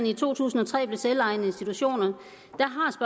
i to tusind og tre blev selvejende institutioner